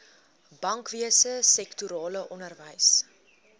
bankwese sektorale onderwys